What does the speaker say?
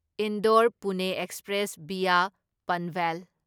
Indore Pune express via Panvel